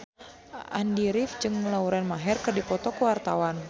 Andy rif jeung Lauren Maher keur dipoto ku wartawan